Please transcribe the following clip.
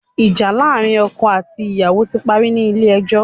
Ìjà láàrin ọkọ àti ìyàwó ti parí ní Ilé ẹjọ́